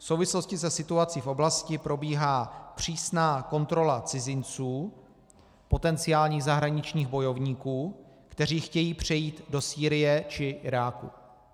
V souvislosti se situací v oblasti probíhá přísná kontrola cizinců, potenciálních zahraničních bojovníků, kteří chtějí přejít do Sýrie či Iráku.